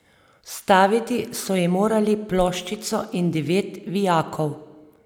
Vstaviti so ji morali ploščico in devet vijakov.